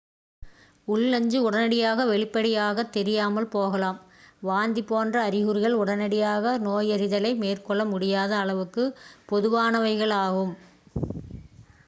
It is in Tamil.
உள் நஞ்சு உடனடியாக வெளிப்படையாகத் தெரியாமல் போகலாம் வாந்தி போன்ற அறிகுறிகள் உடனடியாக நோயறிதலை மேற்கொள்ள முடியாத அளவுக்கு பொதுவானவையாகும்